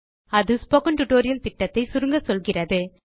அது spoken tutorial திட்டத்தை சுருங்கச்சொல்கிறது